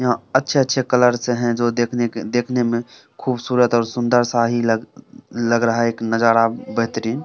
यहाँ अच्छे-अच्छे कलर्स हैं जो देखने के देखने मे खूबसूरत और सुंदर सा ही लग लग रहा है एक नजारा बेहतरीन।